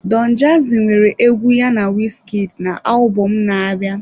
Don jazzy nwere egwu ya na Wizkid na alubom na-abịa.